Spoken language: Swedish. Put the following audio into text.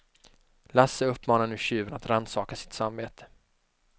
Lasse uppmanar nu tjuven att rannsaka sitt samvete.